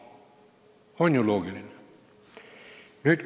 On ju loogiline?